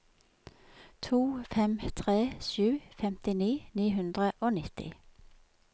to fem tre sju femtini ni hundre og nitti